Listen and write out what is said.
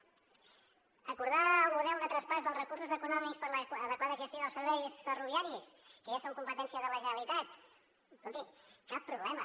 acordar el model de traspàs dels recursos econòmics per a l’adequada gestió dels serveis ferroviaris que ja són competència de la generalitat escolti cap problema